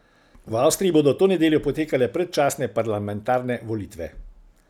V Avstriji bodo to nedeljo potekale predčasne parlamentarne volitve.